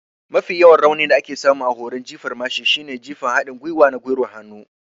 Mafi yawan raunin da aka samu a horon jifar mashin shine jifan haɗin gwiwa na gwiwar hannu.